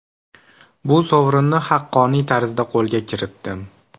Bu sovrinni haqqoniy tarzda qo‘lga kiritdim.